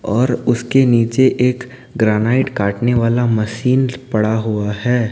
और उसके नीचे एक ग्रेनाइट काटने वाला मशीन पड़ा हुआ है।